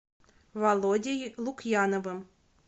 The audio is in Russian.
володей лукьяновым